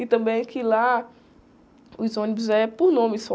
E também que lá os ônibus é por nome só.